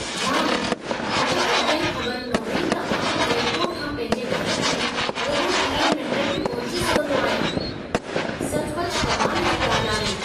वाह! मूंखे अॼु ताईं ख़बर न हुई त आउं एयरपोर्ट खां पंहिंजे घर ताईं रुॻो 30 मिंटनि में पहुची सघंदो आहियां। सचुपचु कमाल जी ॻाल्हि आहे।